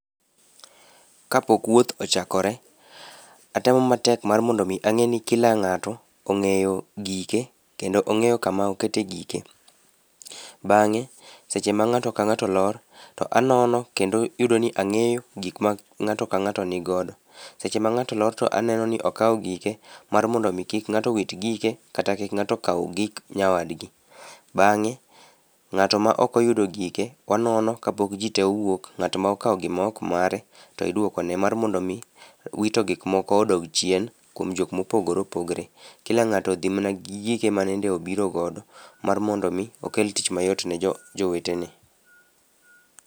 Kapok wuoth ochakore, atemo matek mar mondo mi ang'e ni kila ng'ato ong'eyo gike kendo ong'eyo kama okete gike. Bang'e seche ma ng'ato ka ng'ato lor to anono kendo iyudo ni ang'eyo gik ma ng'ato ka ng'ato ni godo. Seche ma ng'ato lor to aneno ni okawo gike mar mondo mi kik ng'ato wit gike kata kik ng'ato kaw gik nyawadgi. Bang'e ng'ato ma ok oyudo gike onono kapok ji tee owuok ng'ato ma okawo gik maok mare to iduokone mar mondo mi wito gik moko odog chien kuom jok ma opogore opogore. Kila ng'atoodhi mana gi gik mane obiro godo mar mondo mi okel tich mayot ne jowetene.